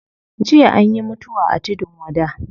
Jiya anyi mutuwa a tudun wada